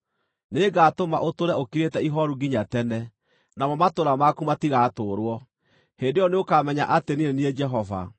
Nĩngatũma ũtũũre ũkirĩte ihooru nginya tene, namo matũũra maku matigatũũrwo. Hĩndĩ ĩyo nĩũkamenya atĩ niĩ nĩ niĩ Jehova.